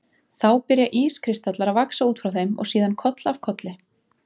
Þá byrja ískristallar að vaxa út frá þeim og síðan koll af kolli.